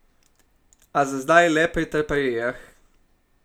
A za zdaj le pri traparijah.